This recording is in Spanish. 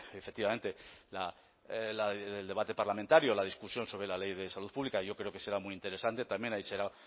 efectivamente el debate parlamentario o la discusión sobre la ley de salud pública yo creo que será muy interesante también ahí será